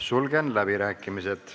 Sulgen läbirääkimised.